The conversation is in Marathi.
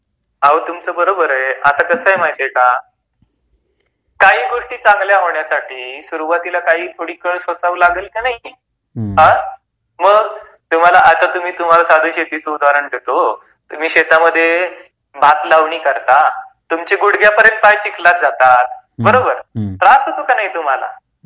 हो तुमच बरोबर आहे, आता कस आहे माहित आहे का काही गोष्टी चांगल्या होण्यासाठी सुरुवातीला थोडिफार कळ सोसावी लागल की नाहि . मग आता तुम्हाला मि शेतीच उदहारण देतो हो तुम्ही शेतामध्ये भात लावणी करता, तुमची गुडघ्यापर्यंत पाय चिखलात जातात बरोबर, त्रास होतो की नाही तुम्हाला .